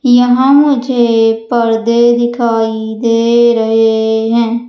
यहां मुझे पर्दे दिखाई दे रहे हैं।